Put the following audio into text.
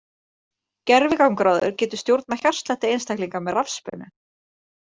Gervigangráður getur stjórnað hjartslætti einstaklinga með rafspennu.